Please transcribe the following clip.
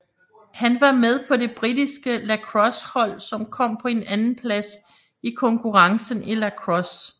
Han var med på det britiske lacrossehold som kom på en andenplads i konkurrencen i lacrosse